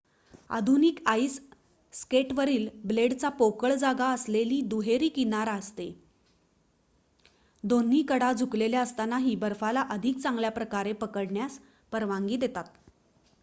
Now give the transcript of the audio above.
आधुनिक आईस स्केटवरील ब्लेडला पोकळ जागा असलेली दुहेरी किनार असते दोन्ही कडा झुकलेल्या असतानाही बर्फाला अधिक चांगल्याप्रकारे पकडण्यास परवानगी देतात